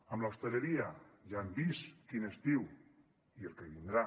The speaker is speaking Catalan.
amb l’hostaleria ja hem vist quin estiu i el que vindrà